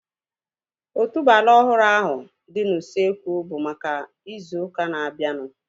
Otuboala ọhụrụ ahu dị n'usekwu bụ maka ịzụ ụka na-abianu